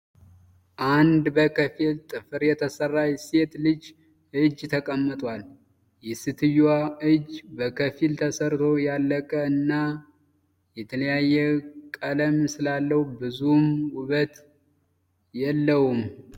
አንድ በከፊል ጥፍር የተሰራች ሴት ልጅ እጅ ተቀምጧል። የሰትዮዋ እጅ በከፊል ተሰርቶ ያላለቀ እና የተለያየ ቀለም ስላለው ብዙም ዉበት የለውም።